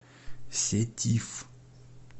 сетиф